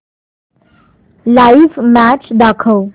live match दाखव